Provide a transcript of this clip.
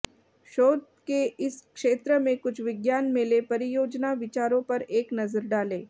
शोध के इस क्षेत्र में कुछ विज्ञान मेले परियोजना विचारों पर एक नज़र डालें